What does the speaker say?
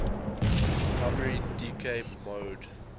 primary decay mode